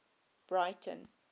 breyten